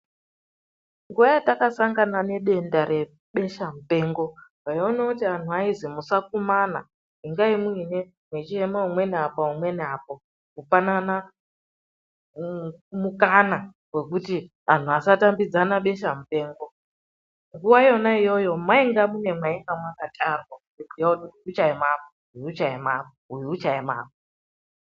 Nguwa yatakasangana nedenda rebesha mupengo taiona kuti vanhu vaizwi musakumana ingai mwechiema umweni apa umweni apa kupanana mukana wekuti anhu asatambidzana besha mupengo. Nguwa yona iyoyo mwainga mune mwainga mwakatarwa kuziya kuti uchaema apa, uchaema apa ,uyu uchaema apa.